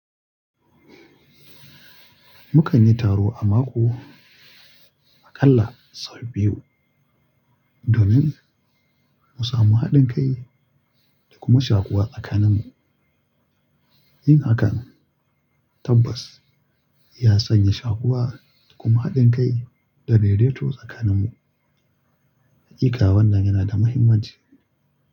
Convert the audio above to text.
Mukan yi taro a mako aƙalla sau biyu domin mu samu haɗin kai da kuma shakuwa tsakaninmu. Yin hakan tabbas ya sanya shakuwa kuma haɗin kai da raye-raye tsakaninmu. Hakika wannan yana da mahimmanci.